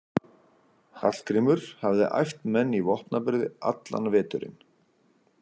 Hallgrímur hafði æft menn í vopnaburði allan veturinn.